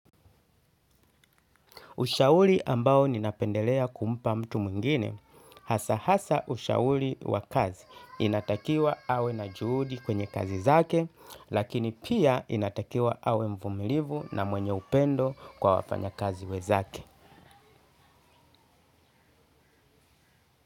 Ushauri ambao ninapendelea kumpa mtu mwingine hasa hasa ushauri wa kazi, inatakiwa awe na juhudi kwenye kazi zake lakini pia inatakiwa awe mvumilivu na mwenye upendo kwa wafanyakazi wenzake.